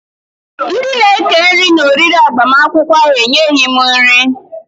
Ndị na eke nri na-oriri agbamakwụkwọ ahụ e nyeghị m nri